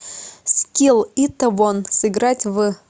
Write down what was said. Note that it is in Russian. скилл итэвон сыграть в